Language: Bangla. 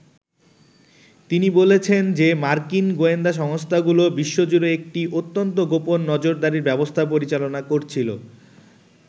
তিনি বলছেন যে মার্কিন গোয়েন্দা সংস্থাগুলো বিশ্বজুড়ে একটি অত্যন্ত গোপন নজরদারির ব্যবস্থা পরিচালনা করছিল।